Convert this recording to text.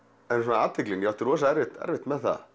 athyglin ég átti rosa erfitt erfitt með það